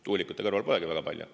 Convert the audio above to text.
Tuulikute kõrval polegi väga palju.